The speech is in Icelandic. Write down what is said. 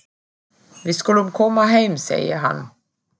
Við skulum koma heim, segir hann.